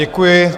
Děkuji.